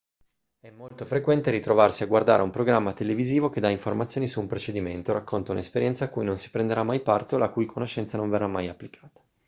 è molto frequente ritrovarsi a guardare un programma televisivo che dà informazioni su un procedimento o racconta un'esperienza a cui non si prenderà mai parte o la cui conoscenza non verrà mai applicata